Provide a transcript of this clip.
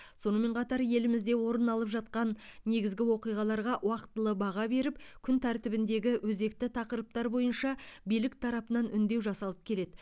сонымен қатар елімізде орын алып жатқан негізгі оқиғаларға уақтылы баға беріліп күн тәртібіндегі өзекті тақырыптар бойынша билік тарапынан үндеу жасалып келеді